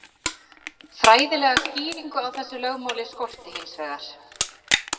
fræðilega skýringu á þessu lögmáli skorti hins vegar